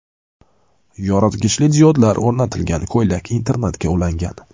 Yoritgichli diodlar o‘rnatilgan ko‘ylak internetga ulangan.